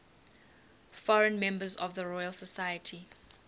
foreign members of the royal society